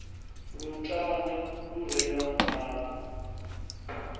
lutanda lu re na mabu